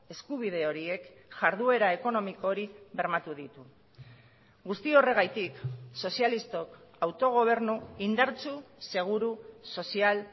eskubide horiek jarduera ekonomiko hori bermatu ditu guzti horregatik sozialistok autogobernu indartsu seguru sozial